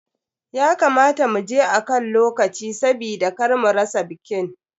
Ya kamata mu je akan lokaci sabida kar mu rasa bikin.